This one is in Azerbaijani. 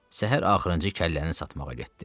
Səhər axırıncı kəlləni satmağa getdi.